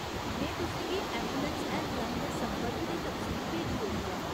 में तुसें गी ऐंबुलैंस हैल्पलाइन दे संपर्क दी तफसील भेजी ओड़ी ऐ।